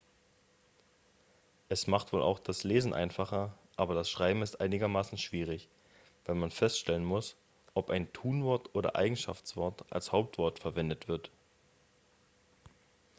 es macht wohl auch das lesen einfacher aber das schreiben ist einigermaßen schwierig weil man feststellen muss ob ein tunwort oder eigenschaftswort als hauptwort verwendet wird